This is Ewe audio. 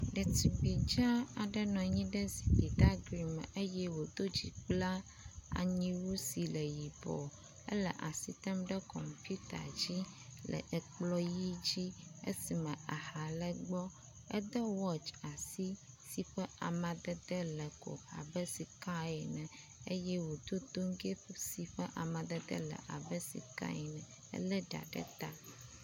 Ɖetugbi dza aɖe nɔ anyi ɖe zikpui gaglɛ me eye wòdo dzikplanyiwu si le yibɔɔ. Ele asi tem ɖe kɔmpita dzi le ekplɔ ʋi dzi esime aha le gbɔ. Ede wɔtsi si ƒe amadede le ko abe sikae ene eye wòdo toŋgɛ si ƒe amadede abe sikae ene. Elé ɖa ɖe ta.